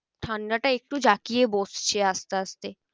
ঠান্ডাটা একটু জাঁকিয়ে বসছে আস্তে আস্তে।